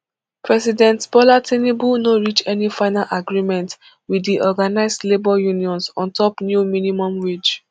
president bola tinubu no reach any final agreement wit di organised labour unions on top new minimum wage